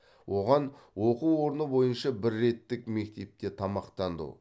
оған оқу орны бойынша бір реттік мектепте тамақтану